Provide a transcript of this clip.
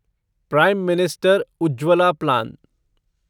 prime minister Ujjwala plan